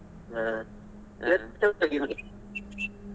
ಹಾ .